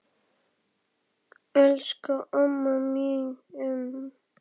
Elsku amma mín Em.